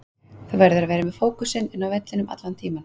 Þú verður að vera með fókusinn inn á vellinum allan tímann.